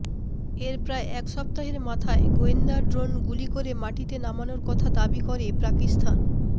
এর প্রায় এক সপ্তাহের মাথায় গোয়েন্দা ড্রোন গুলি করে মাটিতে নামানোর কথা দাবি করে পাকিস্তান